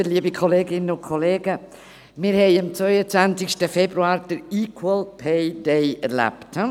Wir haben am 22. Februar den «Equal Pay Day» erlebt.